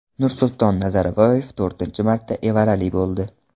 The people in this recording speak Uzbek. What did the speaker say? Nursulton Nazarboyev to‘rtinchi marta evarali bo‘ldi.